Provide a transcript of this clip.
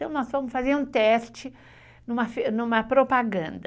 Então, nós fomos fazer um teste numa propaganda.